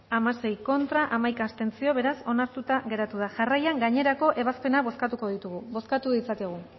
hamasei contra hamaika abstentzio beraz onartuta geratu da jarraian gainerako ebazpenak bozkatuko ditugu bozkatu ditzakegu